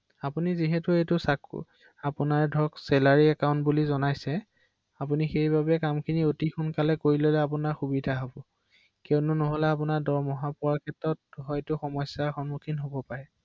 অ হয়